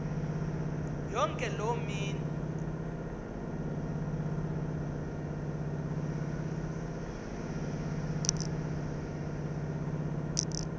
yonke loo mini